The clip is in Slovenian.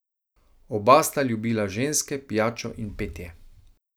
Oba sta ljubila ženske, pijačo in petje.